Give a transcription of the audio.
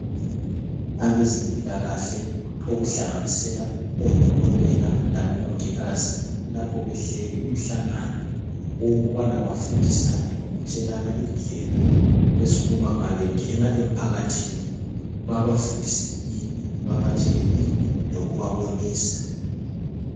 Abezempilakahle okuhlanganisela odokotela labomongikazi. Lapho behleli umhlangano owokubana bafundisane lokutshelana indlela .Ezokuba mabengena emphakathini babafundise ini babatshele ini lokubabonisa.